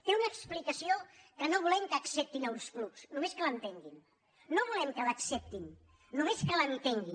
té una explicació que no volem que acceptin a ulls clucs només que l’entenguin no volem que l’acceptin només que l’entenguin